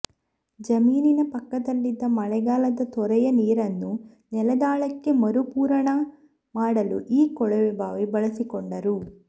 ಜಮೀನಿನ ಪಕ್ಕದಲ್ಲಿದ್ದ ಮಳೆಗಾಲದ ತೊರೆಯ ನೀರನ್ನು ನೆಲದಾಳಕ್ಕೆ ಮರುಪೂರಣ ಮಾಡಲು ಈ ಕೊಳವೆಬಾವಿ ಬಳಸಿಕೊಂಡರು